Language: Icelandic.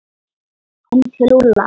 Heim til Lúlla!